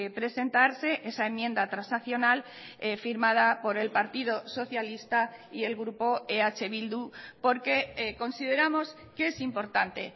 presentarse esa enmienda transaccional firmada por el partido socialista y el grupo eh bildu porque consideramos que es importante